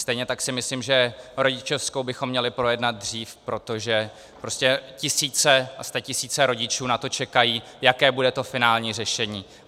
Stejně tak si myslím, že rodičovskou bychom měli projednat dřív, protože prostě tisíce a statisíce rodičů na to čekají, jaké bude to finální řešení.